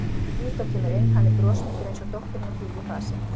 Lídó kemur inn, hann er brosmildur eins og dóttirin og hlýr í fasi.